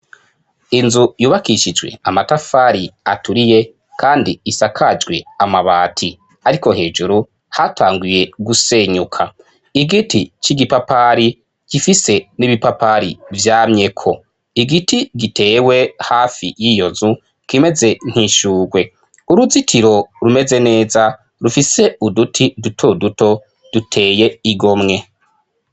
Inzu yubakishijwe amatafari aturiye kandi isakajwe amabati, ariko hejuru hatanguye gusenyuka, igiti c'igipapari gifise n'ibipapari vyamyeko, igiti gitewe hafi yiyo nzu kimeze nk'ishurwe, uruzitiro rumeze neza rufise uduti duto duto duteye igomwe.